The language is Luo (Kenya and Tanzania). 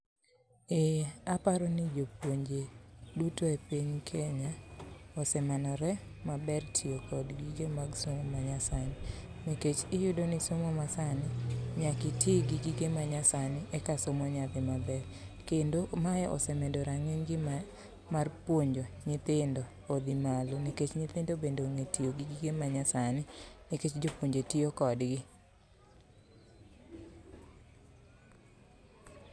Eeeh, aparoni ni jopuonje duto e piny Kenya osemanore maber tiyo kod gige somo manyasani nikech iyudo ni gige somo masani nyaka itii gi gige masani eka somo nya dhi maber ,Kendo mae osemedo ranginy gi mar puonjo nyithindo odhi malo nikech nyithindo bende onge tiyo gi gige manyasni nikech jopuonje tiyo kodgi